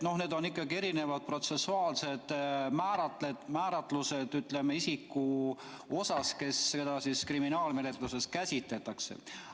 Need on ikkagi erinevad protsessuaalsed määratlused, ütleme, isiku osas, keda kriminaalmenetluses käsitletakse.